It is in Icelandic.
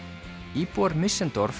íbúar